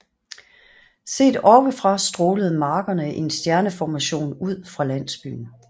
Set oppe fra strålede markerne i en stjerneformation ud fra landsbyen